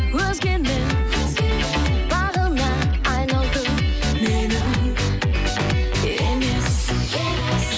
өзгенің бағына айналдың менің емес